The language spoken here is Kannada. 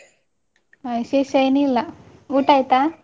ಹ ವಿಶೇಷ ಎನ್ನಿಲ್ಲ, ಊಟ ಆಯ್ತಾ?